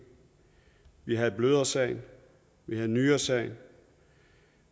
vi havde blødersagen vi havde nyresagen